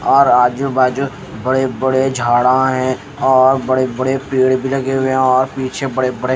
और आजू बाजू बड़े बड़े झाड़ा हैं और बड़े बड़े पेड़ लगे हुए और पीछे बड़े बड़े--